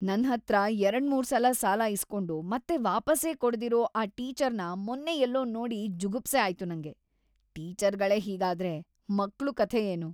ನನ್ಹತ್ರ ಎರಡ್ಮೂರ್ಸಲ ಸಾಲ ಇಸ್ಕೊಂಡು ಮತ್ತೆ ವಾಪಸ್ಸೇ ಕೊಡ್ದಿರೋ ಆ ಟೀಚರ್‌ನ ಮೊನ್ನೆ ಎಲ್ಲೋ ನೋಡಿ ಜುಗುಪ್ಸೆ ಆಯ್ತು ನಂಗೆ. ಟೀಚರ್ಗಳೇ ಹೀಗಾದ್ರೆ ಮಕ್ಳು ಕಥೆ ಏನು?!